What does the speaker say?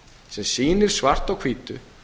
sem sýnir svart á hvítu